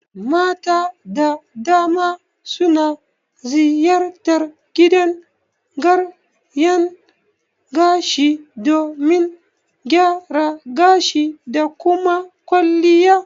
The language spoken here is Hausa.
Mata da dama suna ziyartar gidan gyaran gashi domin gyara gashi da kuma kwalliya